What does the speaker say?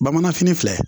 Bamanan fini filɛ